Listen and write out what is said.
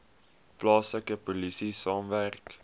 plaaslike polisie saamwerk